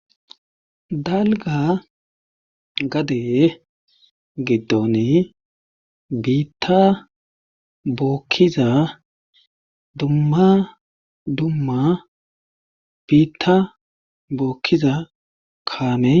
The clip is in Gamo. dalga gade giddoni biitta bookkiza dumma dumma biitta bookkiza kaamey